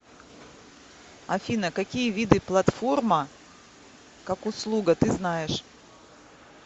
афина какие виды платформа как услуга ты знаешь